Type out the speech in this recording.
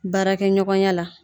Baarakɛɲɔgɔnya la